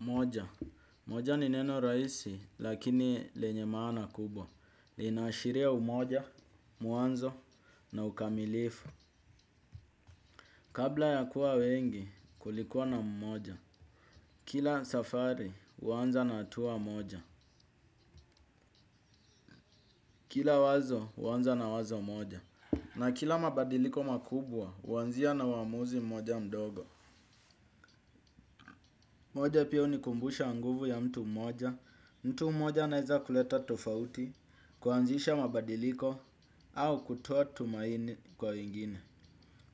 Moja. Moja ni neno rahisi lakini lenye maana kubwa. Linashiria umoja, mwanzo na ukamilifu. Kabla ya kuwa wengi kulikuwa na mmoja. Kila safari uanza na hatua moja. Kila wazo uanza na wazo moja. Na kila mabadiliko makubwa uanzia na uwamuzi moja mdogo. Moja pia unikumbusha nguvu ya mtu moja, mtu moja anaweza kuleta tofauti, kuanzisha mabadiliko, au kutuoa tumaini kwa wengine.